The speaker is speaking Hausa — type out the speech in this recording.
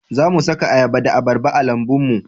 Za mu suka ayaba da abarba a lambun mu